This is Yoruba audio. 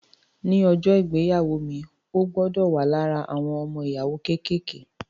Ní ọjọ́ ìgbéyàwó mi, o gbọdọ̀ wà lára àwọn ọmọ-ìyàwó kékèké